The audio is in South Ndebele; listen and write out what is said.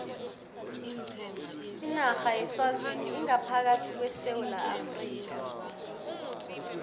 inarha yeswazini ingaphakathi kwesewula afrika